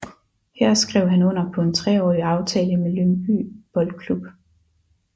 Her skrev han under på en treårig aftale med Lyngby Boldklub